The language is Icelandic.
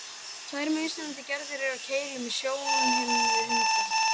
Tvær mismunandi gerðir eru af keilum í sjónhimnu hunda.